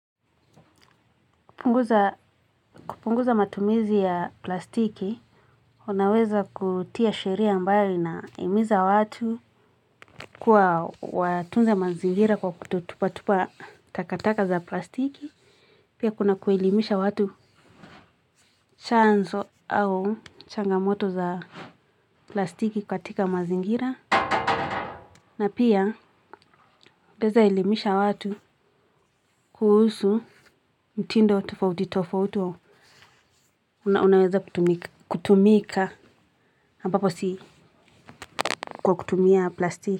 Kupunguza matumizi ya plastiki, unaweza kutia sheria ambayo inaimiza watu kuwa watunze mazingira kwa kutotupa-tupa takataka za plastiki. Pia kuna kuelimisha watu chanzo au changamoto za plastiki kwa tika mazingira. Na pia unaeza elimisha watu kuhusu mtindo tofauti tofauti. Unaweza kutumika kutumika hambapo si kwa kutumia plastiki.